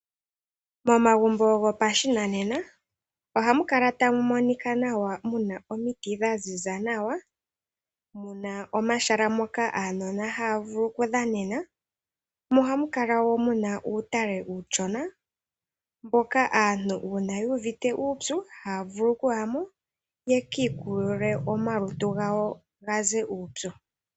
Momagumbo gopashinanena ohamu kala tamu monika nawa muna omiti dha ziza nawa, muna omahala moka aanona haya vulu okudhanena, mo ohamu kala wo muna uutale uushona, mboka aantu uuna yu uvite uupyu, haya vulu okuya mo yaka kuthe omalutu gawo uupyu.